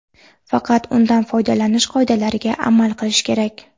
Faqat undan foydalanish qoidalariga amal qilish kerak.